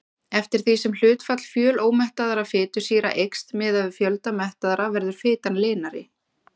Eftir því sem hlutfall fjölómettaðra fitusýra eykst miðað við fjölda mettaðra verður fitan linari.